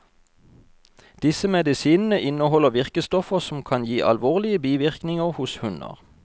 Disse medisinene inneholder virkestoffer som kan gi alvorlige bivirkninger hos hunder.